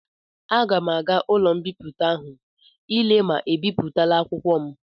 Aga m aga ụlọ mbipụta ahụ ile ma ebipụtala akwụkwọ m.